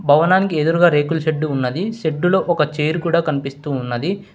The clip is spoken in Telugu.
భవనానికి ఎదురుగా రేకుల షెడ్డు ఉన్నది షెడ్డు లో ఒక చేరు కూడా కనిపిస్తూ ఉన్నది.